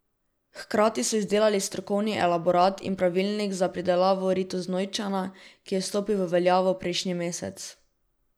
Hkrati so izdelali strokovni elaborat in pravilnik za pridelavo ritoznojčana, ki je stopil v veljavo prejšnji mesec.